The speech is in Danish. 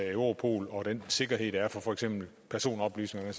europol og den sikkerhed der er for for eksempel personoplysninger